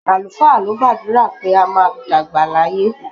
Àlùfáà ló gbàdúrà pé a máa dàgbà láyé.